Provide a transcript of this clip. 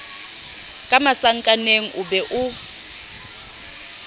ka masakaneng o be o